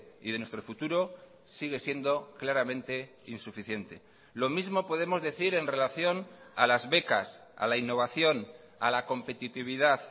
y de nuestro futuro sigue siendo claramente insuficiente lo mismo podemos decir en relación a las becas a la innovación a la competitividad